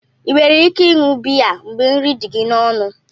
Ị nwere ike ịṅụ biya mgbe nri dị gị n'ọnụ?